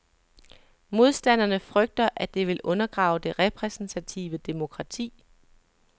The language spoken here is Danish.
Modstanderne frygter, at det vil undergrave det repræsentative demokrati.